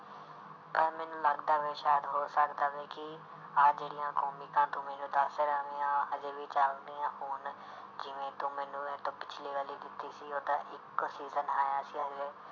ਪਰ ਮੈਨੂੰ ਲੱਗਦਾ ਵੀ ਸ਼ਾਇਦ ਹੋ ਸਕਦਾ ਹੈ ਕਿ ਆਹ ਜਿਹੜੀਆਂ ਕੋਮਿਕਾਂ ਤੂੰ ਮੈਨੂੰ ਦੱਸ ਰਿਹਾ ਹਜੇ ਵੀ ਚੱਲਦੀਆਂ ਹੋਣ ਜਿਵੇਂ ਤੂੰ ਮੈਨੂੰ ਇਹ ਤੋਂ ਪਿੱਛਲੀ ਵਾਲੀ ਦਿੱਤੀ ਸੀ ਉਹਦਾ ਇੱਕ season ਆਇਆ ਸੀ ਹਾਲੇ,